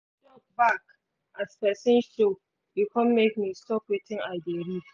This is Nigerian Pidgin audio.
bark as person show e come make me stop wetin i dey read